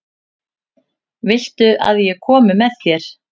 Viltu að ég komi með þér?